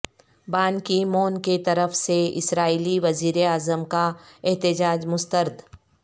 بان Ki Moon کیطرف سے اسرائیلی وزیر اعظم کا احتجاج مسترد